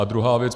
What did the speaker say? A druhá věc.